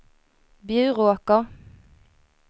Bjuråker